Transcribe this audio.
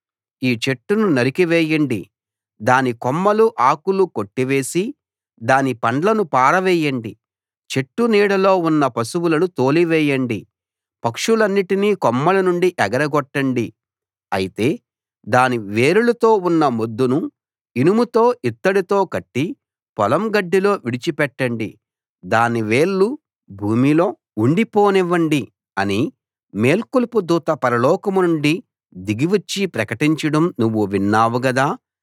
ఈ చెట్టును నరికివేయండి దాని కొమ్మలు ఆకులు కొట్టివేసి దాని పండ్లను పారవేయండి చెట్టు నీడలో ఉన్న పశువులను తోలివేయండి పక్షులన్నిటినీ కొమ్మల నుండి ఎగరగొట్టండి అయితే దాని వేరులతో ఉన్న మొద్దును ఇనుముతో ఇత్తడితో కట్టి పొలం గడ్డిలో విడిచిపెట్టండి దాని వేళ్ళు భూమిలో ఉండిపోనివ్వండి అని మేల్కొలుపు దూత పరలోకం నుండి దిగివచ్చి ప్రకటించడం నువ్వు విన్నావు గదా